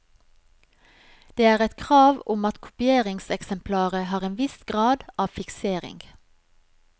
Det er et krav om at kopieringseksemplaret har en viss grad av fiksering.